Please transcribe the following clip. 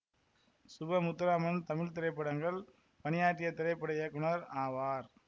சுப முத்துராமன் தமிழ் திரைப்படங்கள் பணியாற்றிய திரைப்பட இயக்குனர் ஆவார்